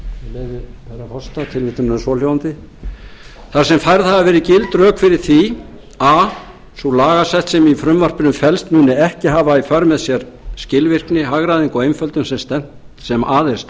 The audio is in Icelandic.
herra forseta þar sem færð hafa verið gild rök fyrir því að a sú lagasetning sem í frumvarpinu felst muni ekki hafa í för með sér þá skilvirkni hagræðingu og einföldun sem að er